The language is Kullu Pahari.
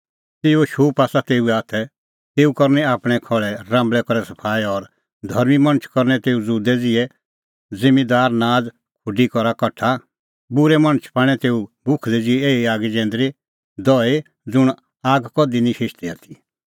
तेऊओ शूप आसा तेऊए हाथै तेऊ करनी आपणैं खहल़े राम्बल़ै करै सफाई और धर्मीं मणछ करनै तेऊ ज़ुदै ज़िहअ ज़िम्मींदार नाज़ खुडी करा कठा बूरै मणछ पाणै तेऊ भुखलै ज़िहै एही आगी जैंदरी दहई ज़ुंण आग कधि निं हिशदी आथी